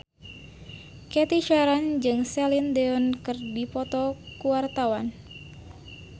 Cathy Sharon jeung Celine Dion keur dipoto ku wartawan